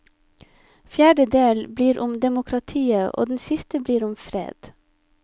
Fjerde del blir om demokratiet og den siste blir om fred.